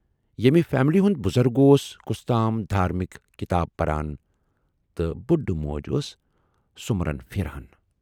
ییمہِ فیملی ہُند بُزرگ اوس کۅستام دھارمِک کِتاب پران تہٕ بُڈٕ موج ٲس سُمرن پھِران۔